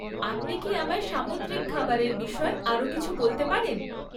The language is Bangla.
আপনি কি আমায় সামুদ্রিক খাবারের বিষয় আরও কিছু বলতে পারেন?